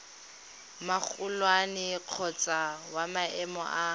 magolwane kgotsa wa maemo a